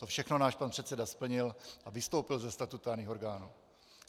To všechno náš pan předseda splnil a vystoupil ze statutárních orgánů.